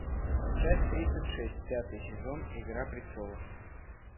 часть тридцать шесть пятый сезон игра престолов